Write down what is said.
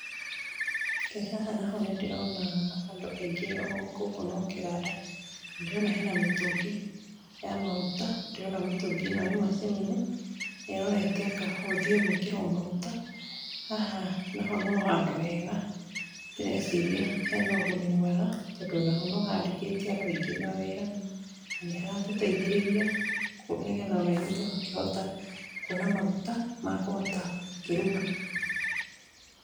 Haha naho nĩ ndĩrona andũ aingĩ gũkũ no kĩganda, ndĩrona hena mĩtũngi ya maguta, ndĩrona mĩtũngi ĩno ĩ macini-inĩ, ĩrorete anga gũthiĩ gwĩkĩrwo maguta, haha naho no handũ hega, ndereciria hena ũguni mwega, tondũ o naho no handĩkĩte andũ aingĩ mawĩra , na nĩ haratũteithĩrĩria, nĩgetha ona ithuĩ tũgakĩhota kuona maguta makũhota gũkĩruga.